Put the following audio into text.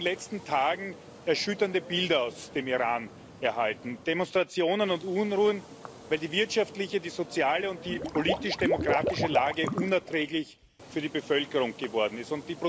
Aber wir haben in den letzten Tagen erschütternde Bilder aus dem Iran erhalten Demonstrationen und Unruhen, weil die wirtschaftliche, die soziale und die politisch demokratische Lage für die Bevölkerung unerträglich geworden ist.